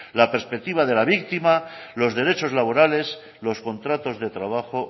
la perspectiva de la víctima los derechos laborales los contratos de trabajo